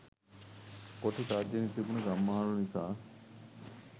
කොටි තර්ජනය තිබුණු ගම්මානවල නිසා.